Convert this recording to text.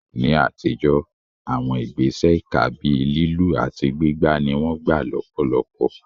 Ní àtijọ́, àwọn ìgbésẹ̀ ìkà bíi lílù àti gbígbá ni wọ́n gbà lọ́pọ̀lọpọ̀.